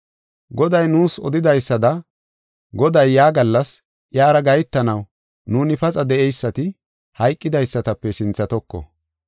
Goday nuus odidaysada Goday yaa gallas iyara gahetanaw nuuni paxa de7eysati, hayqidaysatape sinthatoko.